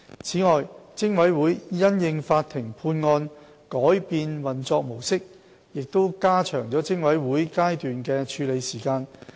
此外，偵委會因應法庭判案改變運作模式亦加長了偵委會階段的處理時間。